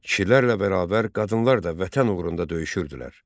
Kişilərlə bərabər qadınlar da Vətən uğrunda döyüşürdülər.